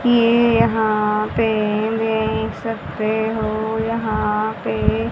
ये यहां पे देख सकते हो यहा पे--